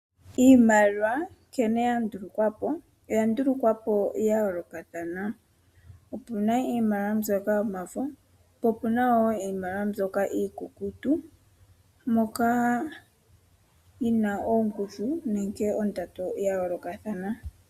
Iimaliwa oya ndulukwa yayoolokathana mpoka puna iimaliwa mbyoka yomafo naambyoka iikukutu. Iimaliwa oyina ongushu nenge ondando yayoolokathana.